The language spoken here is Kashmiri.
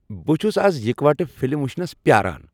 بہٕ چھس آز اِکوٹہٕ فلم ؤچھنس پیاران ۔